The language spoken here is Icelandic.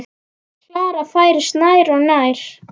Klara færist nær og nær.